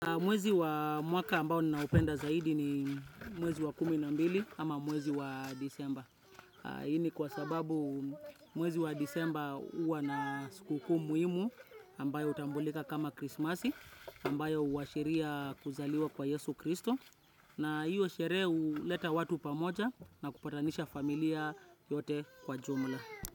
Mwezi wa mwaka ambao ninaopenda zaidi ni mwezi wa kumi na mbili ama mwezi wa disemba. Hii ni kwa sababu mwezi wa disemba huwa na sikukuu muhimu ambayo hutambulika kama krisimasi ambayo huashiria kuzaliwa kwa yesu kristo. Na hiyo sherehe huleta watu pamoja na kupatanisha familia yote kwa jumla.